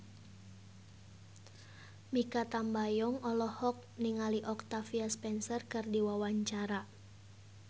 Mikha Tambayong olohok ningali Octavia Spencer keur diwawancara